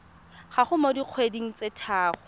gago mo dikgweding tse tharo